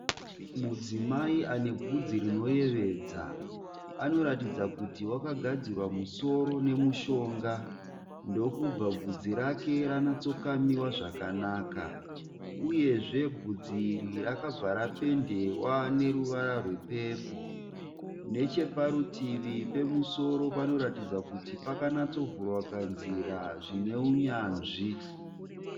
Mudzimai anebvudzi rinoyevedza. Anoratidza kuti wakagadzirwa musoro nemushonga ndokubva bvudzi rake ranatsikamiwa zvakanaka uyezve bvudzi iri rakabva rapendewa neruvara rwepepoo. Necheparutivi pemusoro panoratidza kuti pakanatsovhurwa kanzira zvineunyanzvi.